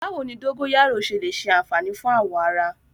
Báwo ni dógóyárò ṣe lè ṣe àfààní fún awọ ara?